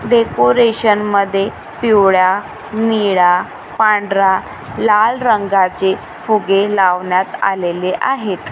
Decoration मध्ये पिवळ्या निळा पांढरा लाल रंगाचे फुगे लावण्यात आलेले आहेत.